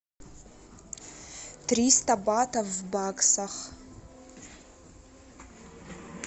триста батов в баксах